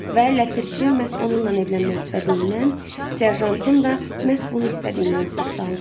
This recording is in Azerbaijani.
Və ləpirçi məhz onunla evlənmək istədiyindən, serjantın da məhz bunu istədiyindən söz saldı.